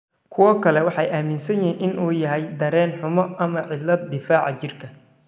Kuwo kale waxay aaminsan yihiin in uu yahay dareen-xumo ama cillad difaaca jirka.